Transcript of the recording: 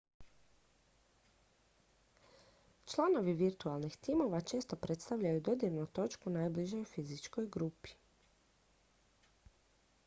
članovi virtualnih timova često predstavljaju dodirnu točku najbližoj fizičkoj grupi